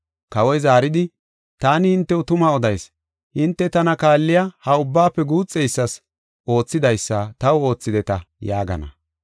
Kawoy zaaridi, ‘Taani hintew tuma odayis; hinte tana kaalliya ha ubbaafe guuxeysas oothidaysa taw oothideta’ yaagana.